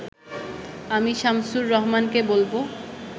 আমি শামসুর রাহমানকে বলব